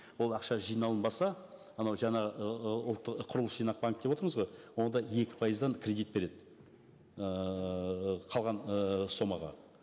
ол ақша жиналынбаса анау жаңа құрылыс жинақ банкі деп отырмыз ғой онда екі пайыздан кредит береді ыыы қалған ыыы сомаға